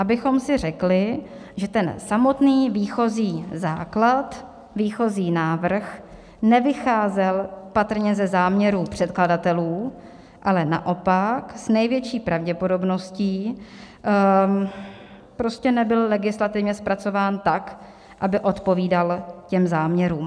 Abychom si řekli, že ten samotný výchozí základ, výchozí návrh, nevycházel patrně ze záměrů předkladatelů, ale naopak s největší pravděpodobností prostě nebyl legislativně zpracován tak, aby odpovídal těm záměrům.